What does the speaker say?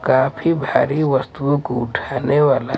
काफी भारी वस्तुओं को उठाने वाला--